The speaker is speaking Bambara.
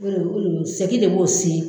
seki le b'o si